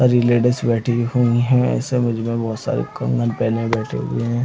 और ये लेडिस बैठी हुई हैं ये सब इसमे बहोत सारे कंबल पहने हुए बैठे हुए हैं।